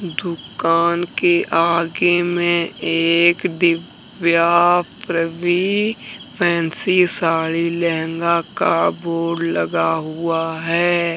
दुकान के आगे में एक दिव्या प्रबी फैंसी साड़ी लहंगा का बोर्ड लगा हुआ है।